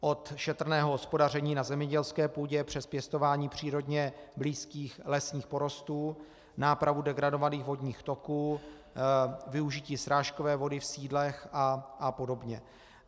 Od šetrného hospodaření na zemědělské půdě přes pěstování přírodně blízkých lesních porostů, nápravu degradovaných vodních toků, využití srážkové vody v sídlech a podobně.